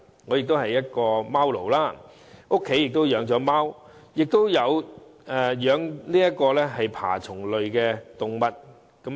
我亦是一名"貓奴"，家中除了貓外，亦有飼養爬蟲類動物。